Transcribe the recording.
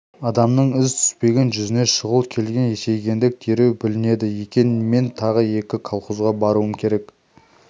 адамның із түспеген жүзіне шұғыл келген есейгендік дереу білінеді екен мен тағы екі колхозға баруым керек